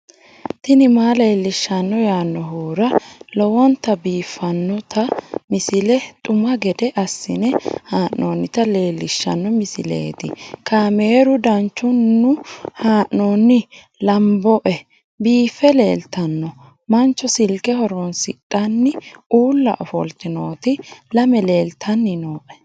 tini maa leelishshanno yaannohura lowonta biiffanota misile xuma gede assine haa'noonnita leellishshanno misileeti kaameru danchunni haa'noonni lamboe biiffe leeeltanno mancho silke horooonsidhanni ulla ofolte nooti lame leeltanni nooe